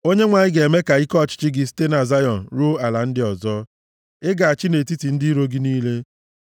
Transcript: Onyenwe anyị ga-eme ka ike ọchịchị gị site na Zayọn ruo ala ndị ọzọ; ị ga-achị nʼetiti ndị iro gị niile.